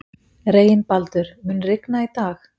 Reginbaldur, mun rigna í dag?